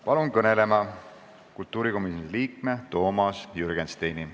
Palun kõnelema kultuurikomisjoni liikme Toomas Jürgensteini.